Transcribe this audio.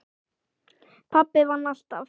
Pabbi vann alltaf.